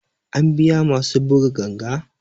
An biya masu buga ganga